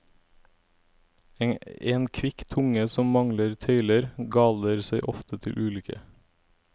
En kvikk tunge som mangler tøyler, galer seg ofte til ulykke.